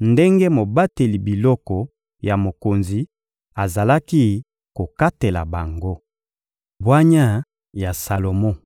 ndenge mobateli biloko ya mokonzi azalaki kokatela bango. Bwanya ya Salomo